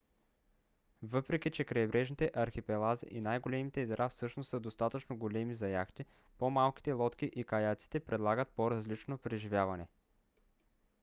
въпреки че крайбрежните архипелази и най-големите езера всъщност са достатъчно големи за яхти по-малките лодки и каяците предлагат по-различно преживяване